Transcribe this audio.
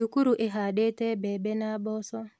Thukuru ĩhandĩte mbembe na mboco